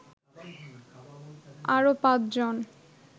আরো পাঁচজন